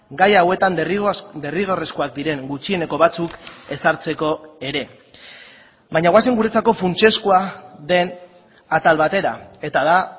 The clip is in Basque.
gai hauetan derrigorrezkoak diren gutxieneko batzuk ezartzeko ere baina goazen guretzako funtsezkoa den atal batera eta da